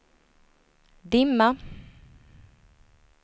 dimma